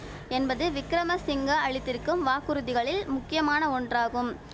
என்பது விக்கிரமசிங்க அளித்திருக்கும் வாக்குறுதிகளில் முக்கியமான ஒன்றாகும்